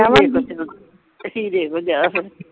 ਹੀਰੇ ਕੋਲ ਜਾ ਹੁਣ